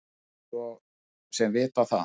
Mátti svo sem vita það.